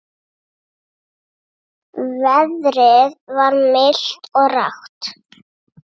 Veðrið var milt og rakt.